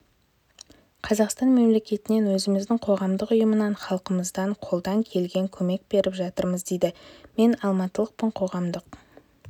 қазақстан мемлекетінен өзіміздің қоғамдық ұйымынан халқымыздан қолдан келген көмек беріп жатырмыз дейді мен алматылықпын қоғамдық